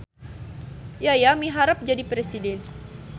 Yaya miharep jadi presiden